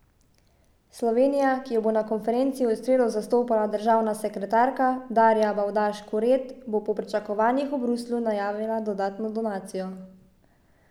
Slovenija, ki jo bo na konferenci v sredo zastopala državna sekretarka Darja Bavdaž Kuret, bo po pričakovanjih v Bruslju najavila dodatno donacijo.